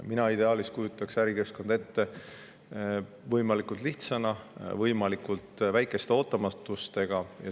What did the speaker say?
Mina kujutaks ärikeskkonda ideaalis ette võimalikult lihtsana, võimalikult väikeste ootamatustega.